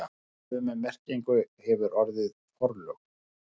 Sömu merkingu hefur orðið forlög.